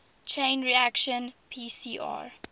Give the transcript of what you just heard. chain reaction pcr